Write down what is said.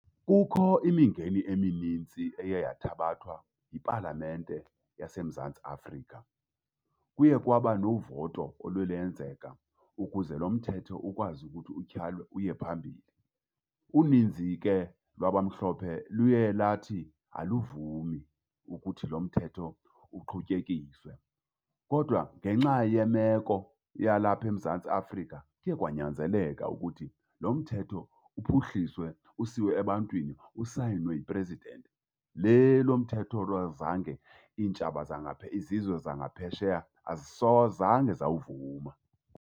Kukho imingeni eminintsi eye yathabathwa yipalamente yaseMzantsi Afrika. Kuye kwaba novoto oluye lenzeka ukuze lo mthetho ukwazi ukuthi utyhalwe uye phambili. Uninzi ke lwabamhlophe luye lathi aluvumi ukuthi lo mthetho uqhutyekiswe. Kodwa ngenxa yemeko yalapha eMzantsi Afrika kuye kwanyanzeleka ukuthi lo mthetho uphuhliswe usiwe ebantwini, usayinwe yi-president. Le lo mthetho azange iintshaba izizwe zangaphesheya azange zawuvuma.